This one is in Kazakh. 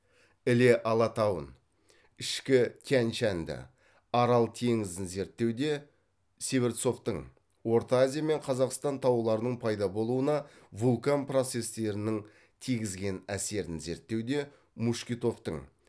іле алатауын ішкі тянь шаньды арал теңізін зерттеуде северцовтың орта азия мен қазақстан тауларының пайда болуына вулкан процестерінің тигізген әсерін зерттеуде мушкетовтың